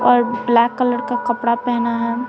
और black colour का कपड़ा पहना है।